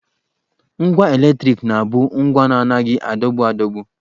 Ngwa eletriki na-abụ ngwa na-anaghị adọgbu adọgbu